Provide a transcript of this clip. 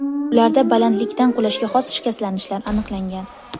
Ularda balandlikdan qulashga xos shikastlanishlar aniqlangan.